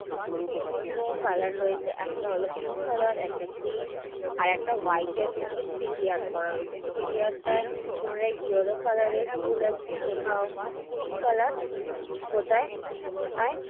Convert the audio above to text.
বিভিন্ন color রয়েছে। একটা হলো pink color একটা green আর একটা white এর মধ্যে three D art করা রয়েছে। three D art টায় কোনটাই yellow color ফুল আছে, কোথাও pink color কোনোটায়~ কোনোটায়